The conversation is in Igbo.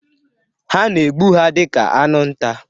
A na-egbu ha dị ka anụ nta.